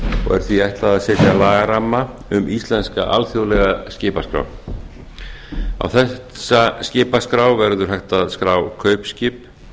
er því ætlað að setja lagaramma um íslenska alþjóðlega skipaskrá á þessa skipaskrá verður hægt að skrá kaupskip